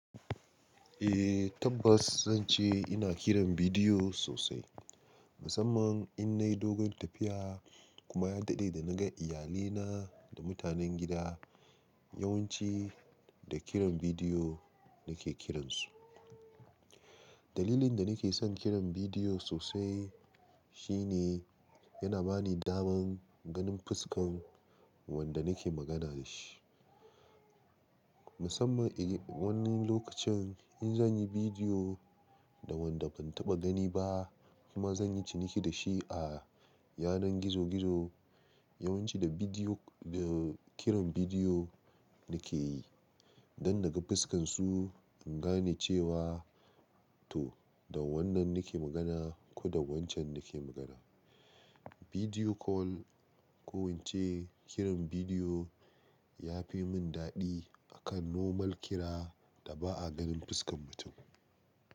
Eh tabbas zan ce ina kiran bidiyo sosai, musamman in nayi dogon tafiya kuma ya daɗe da na ga iyalina da mutanen gida. Yawanci da kiran bidiyo nake kiransu. Dalilin da nake son kiran bidiyo sosai shine yana bani daman ganin fuskan wanda nake magana da shi. Musamman e wani lokacin in zan yi bidiyo da wanda ban taɓa gani ba kuma zan yi ciniki da shi a yanar gizo gizo yawanci da bidiyo da kiran bidiyo nake yi, don naga fuskan su in gane cewa to da wannan nake magana ko da wancan nake magana. Bidiyo kol ko wance kiran bidiyo ya fi mun daɗi akan normal kira da ba'a ganin fuskan mutum.